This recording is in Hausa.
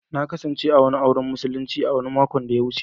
Na kasance a wani auren musulinci makon da ya wuce.